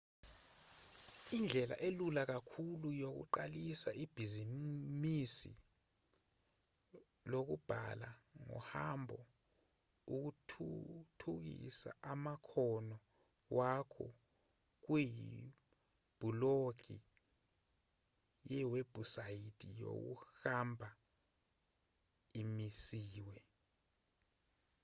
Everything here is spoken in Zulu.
indlela elula kakhulu yokuqalisa ebhizinisini lokubhala ngohambo ukuthuthukisa amakhono wakho kuyibhulogi yewebhusayithi yokuhamba emisiwe